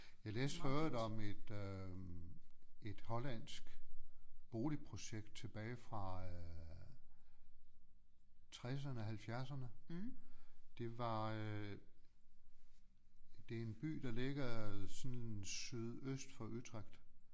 Jeg læste for øvrigt om et øh et hollandsk boligprojekt tilbage fra øh tresserne halvfjerdserne det var øh det er en by der ligger sådan sydøst for Utrecht